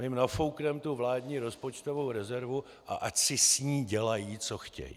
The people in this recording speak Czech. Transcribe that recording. My jim nafoukneme tu vládní rozpočtovou rezervu, a ať si s ní dělají, co chtějí.